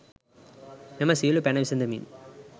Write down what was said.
මෙම සියලු පැන විසඳමින්